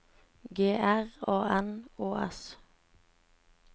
G R A N Å S